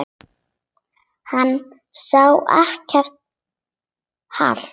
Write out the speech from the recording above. Hann sá ekkert hatur.